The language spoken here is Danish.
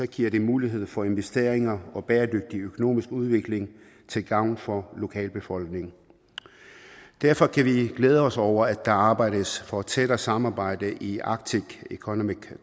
giver det mulighed for investeringer og en bæredygtig økonomisk udvikling til gavn for lokalbefolkningen derfor kan vi glæde os over at der arbejdes for et tættere samarbejde i arctic economic